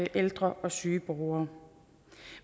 ældre og syge borgere